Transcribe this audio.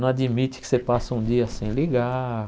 Não admite que você passa um dia sem ligar.